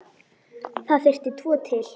Það þurfti tvo til.